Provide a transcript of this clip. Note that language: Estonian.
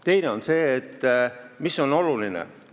Teiseks, mis on oluline?